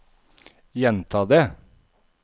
gjenta det